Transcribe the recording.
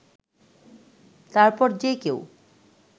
তারপর যেকেউ